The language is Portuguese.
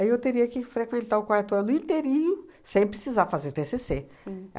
eu teria que frequentar o quarto ano inteirinho sem precisar fazer tê cê cê. Sim.